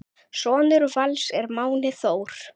Sonur Vals er Máni Þór.